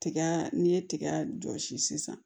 Tiga n'i ye tiga jɔsi sisan